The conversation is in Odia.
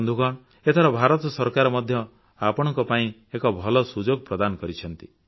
ବନ୍ଧୁଗଣ ଏଥର ଭାରତ ସରକାର ମଧ୍ୟ ଆପଣଙ୍କ ପାଇଁ ଏକ ଭଲ ସୁଯୋଗ ପ୍ରଦାନ କରିଛନ୍ତି